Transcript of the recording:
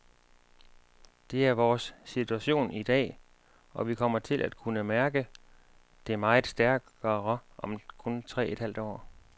Det er vores situation i dag, og vi kommer til at kunne mærke det meget stærkere om kun tre et halvt år.